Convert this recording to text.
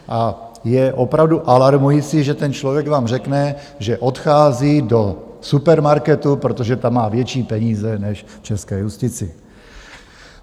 A je opravdu alarmující, že ten člověk vám řekne, že odchází do supermarketu, protože tam má větší peníze než v české justici.